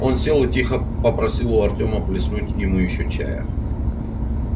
он сел и тихо попросил у артема плеснуть ему ещё чая